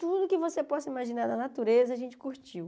Tudo que você possa imaginar na natureza, a gente curtiu.